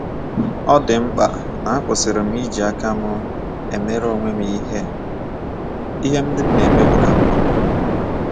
ọ di mkpa na-akwusirị m iji aka m emere onwe m ihe ndị m ihe ndị m na-emebu na mbụ